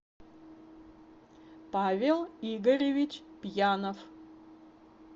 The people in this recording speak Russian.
павел игоревич пьянов